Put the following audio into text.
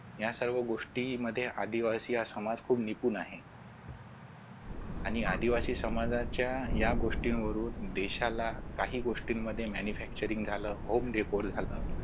या सर्व गोष्टींमध्ये आदिवासी हा समाज फार निकून आहे. आणि आदिवासी समाजाच्या या गोष्टींवरून सशाला काही गोष्टींमध्ये manufacturing झालं home decor झालं